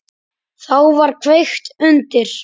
Þá var kveikt undir.